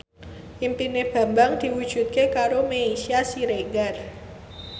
impine Bambang diwujudke karo Meisya Siregar